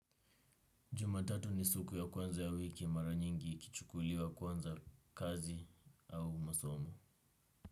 Juma tatu ni suku ya kwanza ya wiki mara nyingi ikichukuliwa kuanza kazi au masomo.